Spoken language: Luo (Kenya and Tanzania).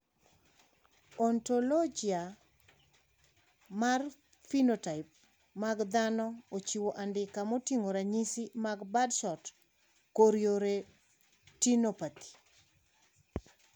Ontologia mar phenotype mag dhano ochiwo andika moting`o ranyisi mag Birdshot chorioretinopathy.